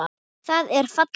Það er falleg mynd.